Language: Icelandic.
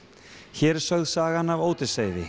hér er sögð sagan af